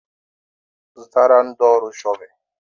Zụtara ndị ọrụ shọvel.